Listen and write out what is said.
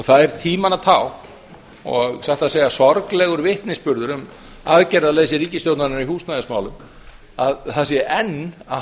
það er tímanna tákn og satt að segja sorglegur vitnisburður um aðgerðaleysi ríkisstjórnarinnar í húsnæðismálum að það sé enn að